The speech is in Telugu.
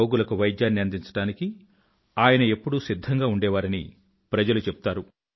రోగులకు వైద్యాన్ని అందించడానికి ఆయన ఎప్పుడూ సిధ్ధంగా ఉండేవారని ప్రజలు చెప్తారు